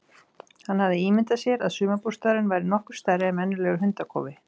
Hann hafði ímyndað sér að sumarbústaðurinn væri nokkuð stærri en venjulegur hundakofi.